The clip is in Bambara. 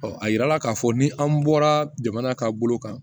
a yirala k'a fɔ ni an bɔra jamana ka bolo kan